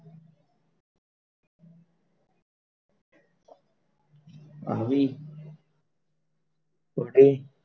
આવી પડે,